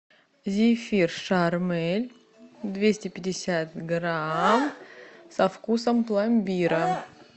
зефир шармель двести пятьдесят грамм со вкусом пломбира